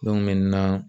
Don min na